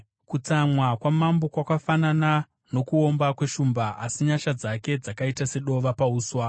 Kutsamwa kwamambo kwakafanana nokuomba kweshumba, asi nyasha dzake dzakaita sedova pauswa.